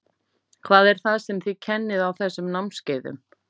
Hvað er það sem þið kennið á þessum námskeiðum?